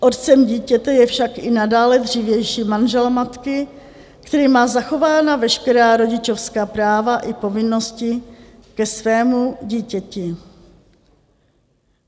Otcem dítěte je však i nadále dřívější manžel matky, který má zachována veškerá rodičovská práva i povinnosti ke svému dítěti.